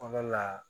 Kɔnɔna la